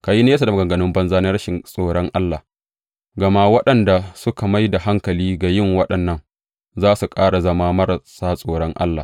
Ka yi nesa da maganganun banza na rashin tsoron Allah, gama waɗanda suka mai da hankali ga yin waɗannan za su ƙara zama marasa tsoron Allah.